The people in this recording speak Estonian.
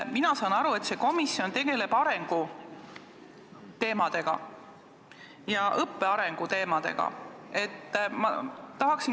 Mina saan aru, et see komisjon tegeleb arengu- ja õppe arengu teemadega.